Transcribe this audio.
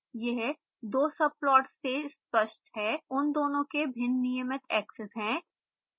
यह दो subplots से स्पष्ट है उन दोनों के भिन्न नियमित axes हैं